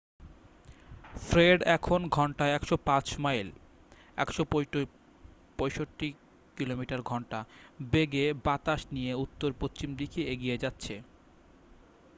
Fred এখন ঘন্টায় 105 mile 165 কিমি/ঘন্টা বেগে বাতাস নিয়ে উত্তর-পশ্চিম দিকে এগিয়ে যাচ্ছে।